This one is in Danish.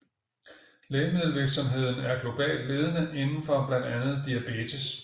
Lægemiddelvirksomheden er globalt ledende inden for blandt andet diabetes